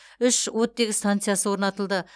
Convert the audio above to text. үш оттегі станциясы орнатылды